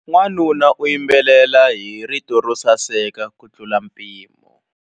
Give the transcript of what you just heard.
Wanuna u yimbelela hi rito ro saseka kutlula mpimo.